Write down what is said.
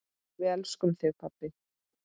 Við elskum þig, pabbi.